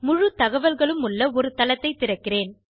முழுத் தகவல்களும் உள்ள ஒரு தளத்தைத் திறக்கிறேன்